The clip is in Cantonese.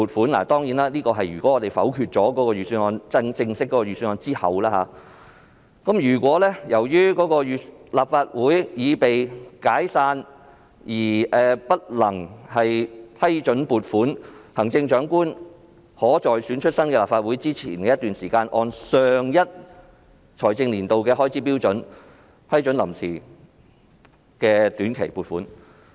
"當然，這兒所說的是如議員否決了正式的預算案後，"如果由於立法會已被解散而不能批准撥款，行政長官可在選出新的立法會前的一段時期內，按上一財政年度的開支標準，批准臨時短期撥款。